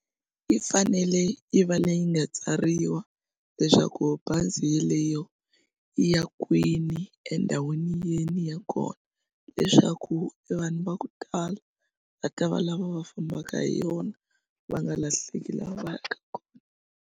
Yi fanele yi va leyi nga tsariwa leswaku bazi yeleyo yi ya kwini endhawini yini ya kona leswaku evanhu va ku tala va ta va lava va fambaka hi yona va nga lahleki laha va yaka kona.